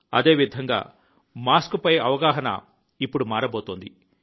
అదేవిధంగా మాస్క్ పై అవగాహన ఇప్పుడు మారబోతోంది